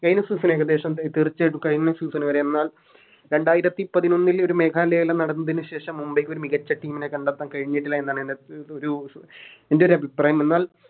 കയിഞ്ഞ Season ഏകദേശം തീർച്ചയായിട്ടും കയിഞ്ഞ Season വരെ എന്നാൽ രണ്ടായിരത്തി പതിനൊന്നിൽ ഒരു മേഘാലയ എല്ലാം നടന്നതിനു ശേഷം മുംബൈക്കൊരു മികച്ച Team നെ കണ്ടെത്താൻ കയിഞ്ഞിട്ടില്ല എന്നതാണ് എന ഒരു എൻറെരു അഭിപ്രായം എന്നാൽ